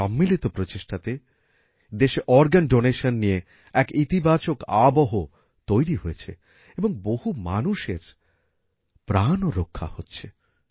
এই সম্মিলিত প্রচেষ্টাতে দেশে অর্গান ডোনেশন নিয়ে এক ইতিবাচক আবহ তৈরী হয়েছে এবং বহু মানুষের প্রাণও রক্ষা হচ্ছে